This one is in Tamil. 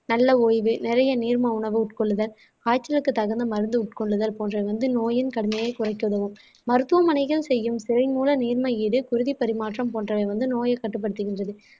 நல்ல ஓய்வு நிறைய நீர்ம உணவு உட்கொள்ளுதல் காய்ச்சலுக்கு தகுந்த மருந்து உட்கொள்ளுதல் போன்றவை வந்து நோயின் கடுமையை குறைக்க உதவும் மருத்துவமனைகள் செய்யும் திரை மூல நீர்மை இது குருதி பரிமாற்றம் போன்றவை வந்து நோயை கட்டுப்படுத்துகின்றது